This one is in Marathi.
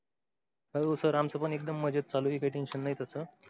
अहो सर आमच पण एकदम मजेत चालू आहे, हे काय tension नाही तस.